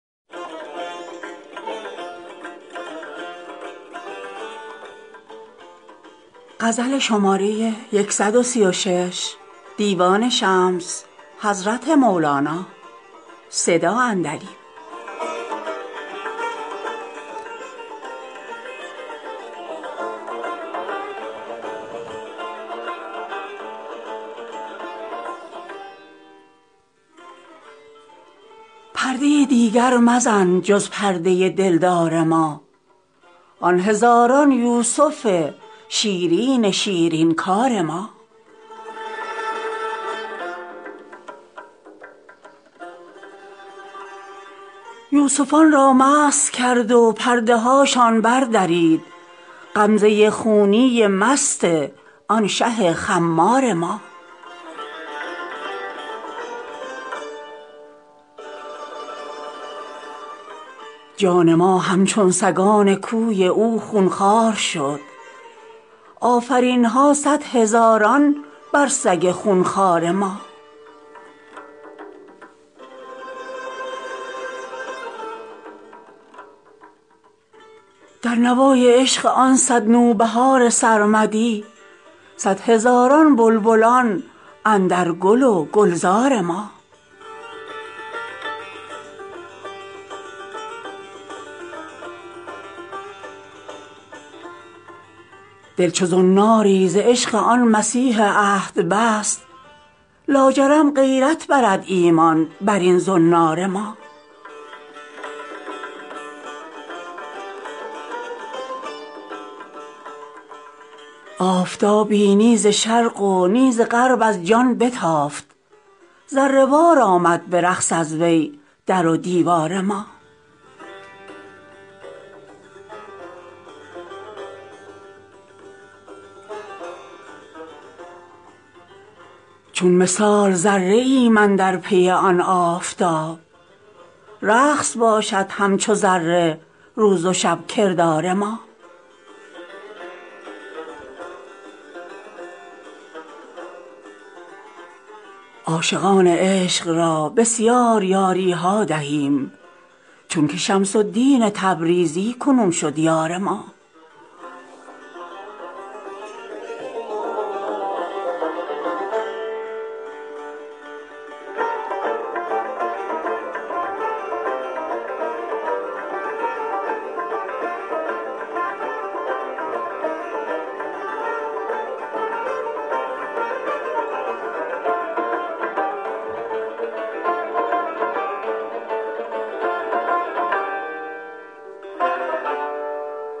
پرده ی دیگر مزن جز پرده ی دلدار ما آن هزاران یوسف شیرین شیرین کار ما یوسفان را مست کرد و پرده هاشان بردرید غمزه ی خونی مست آن شه خمار ما جان ما همچون سگان کوی او خون خوار شد آفرین ها صد هزاران بر سگ خون خوار ما در نوای عشق آن صد نوبهار سرمدی صد هزاران بلبلان اندر گل و گلزار ما دل چو زناری ز عشق آن مسیح عهد بست لاجرم غیرت برد ایمان بر این زنار ما آفتابی نی ز شرق و نی ز غرب از جان بتافت ذره وار آمد به رقص از وی در و دیوار ما چون مثال ذره ایم اندر پی آن آفتاب رقص باشد همچو ذره روز و شب کردار ما عاشقان عشق را بسیار یاری ها دهیم چونک شمس الدین تبریزی کنون شد یار ما